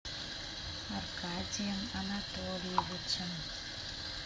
аркадием анатольевичем